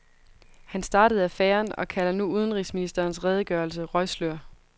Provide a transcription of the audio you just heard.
Han startede affæren og kalder nu udenrigsministerens redegørelse røgslør.